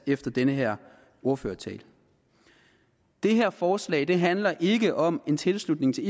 efter den her ordførertale det her forslag handler ikke om en tilslutning til